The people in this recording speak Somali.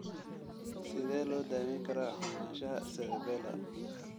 Sidee loo daweyn karaa xumaanshaha cerebellar?